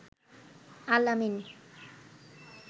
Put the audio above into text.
Al-Amin